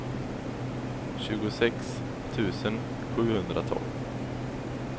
tjugosex tusen sjuhundratolv